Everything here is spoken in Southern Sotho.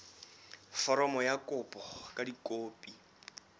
foromo ya kopo ka dikopi